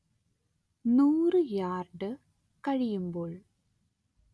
നൂറ് യാർഡ് കഴിയുമ്പോൾ